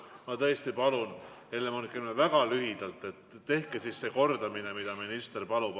Ma tõesti palun, Helle-Moonika Helme, väga lühidalt korrake, nagu minister palub.